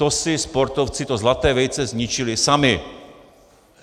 To si sportovci to zlaté vejce zničili sami!